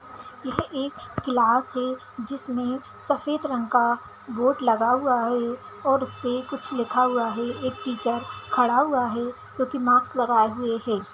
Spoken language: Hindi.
यह एक क्लास है जिसमें सफ़ेद रंग का बोर्ड लगा हुआ है और उसपे कुछ लिखा हुआ है एक टीचर खड़ा हुआ है जो की माक्स लगाए हुए है।